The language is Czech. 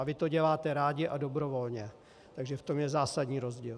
A vy to děláte rádi a dobrovolně, takže v tom je zásadní rozdíl.